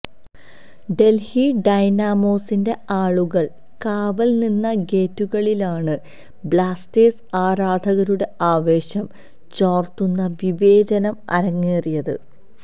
ഡല്ഹി ഡൈനാമോസിന്റെ ആളുകള് കാവല് നിന്ന ഗേറ്റുകളിലാണ് ബ്ലാസ്റ്റേഴ്സ് ആരാധകരുടെ ആവേശം ചോര്ത്തുന്ന വിവേചനം അരങ്ങേറിയത്